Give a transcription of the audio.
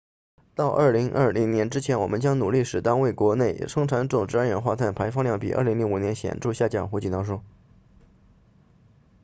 到2020年之前我们将努力使单位国内生产总值二氧化碳排放量比2005年显著下降胡锦涛说